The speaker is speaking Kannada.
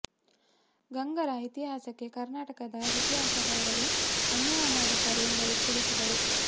ಗಂಗರ ಇತಿಹಾಸಕ್ಕೆ ಕರ್ನಾಟಕದ ಇತಿಹಾಸಕಾರರು ಅನ್ಯಾಯ ಮಾಡಿದ್ದಾರೆ ಎಂದು ಅವರು ತಿಳಿಸಿದರು